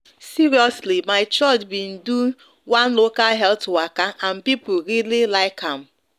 seriously my church been do one local health waka and people really like am